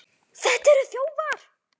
Þetta eru þjófar!